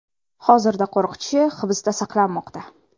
Hozirda qo‘riqchi hibsda saqlanmoqda.